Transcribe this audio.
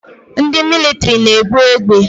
Ndị mịlịtrị na-ebu egbe